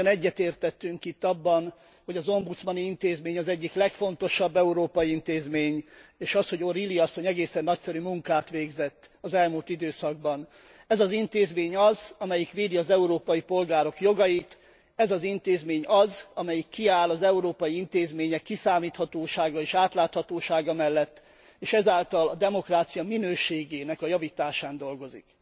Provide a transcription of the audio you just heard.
Mi mindannyian egyetértettünk itt abban, hogy az ombudsmani intézmény az egyik legfontosabb európai intézmény, és abban, hogy O'Reilly asszony egészen nagyszerű munkát végzett az elmúlt időszakban. Ez az intézmény az, amelyik védi az európai polgárok jogait, ez az intézmény az, amelyik kiáll az európai intézmények kiszámíthatósága és átláthatósága mellett, és ezáltal a demokrácia minőségének a javításán dolgozik.